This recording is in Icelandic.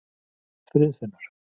Friðfinnur